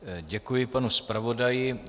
Děkuji panu zpravodaji.